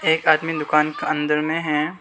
एक आदमी दुकान के अंदर में है।